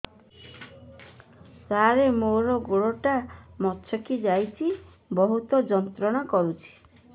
ସାର ମୋର ଗୋଡ ଟା ମଛକି ଯାଇଛି ବହୁତ ଯନ୍ତ୍ରଣା କରୁଛି